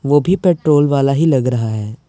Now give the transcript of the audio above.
वो भी पेट्रोल वाला ही लग रहा है।